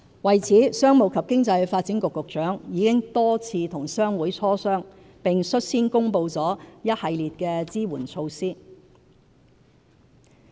為此，商務及經濟發展局局長已多次與商會磋商，並率先公布了一系列支援措施。